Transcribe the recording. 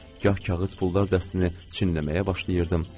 Gah kağız pullar dəstəsini çinləməyə başlayırdım.